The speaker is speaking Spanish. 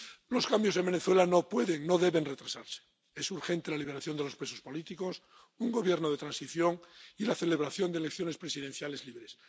Los cambios en Venezuela no pueden, no deben retrasarse. Es urgente la liberación de los presos políticos, un Gobierno de transición y la celebración de elecciones presidenciales libres.